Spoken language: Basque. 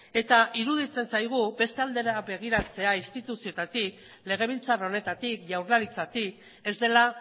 eta iruditzen zaigu beste aldera begiratzea instituzioetatik legebiltzar honetatik jaurlaritzatik ez dela